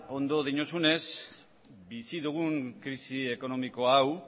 ondo diozunez bizi dugun krisi ekonomiko hau